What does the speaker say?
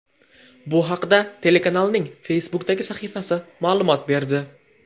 Bu haqda telekanalning Facebook’dagi sahifasi ma’lumot berdi .